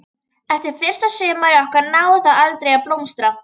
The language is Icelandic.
Eftir fyrsta sumarið okkar náði það aldrei að blómstra.